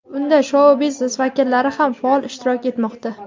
Unda shou-biznes vakillari ham faol ishtirok etmoqda.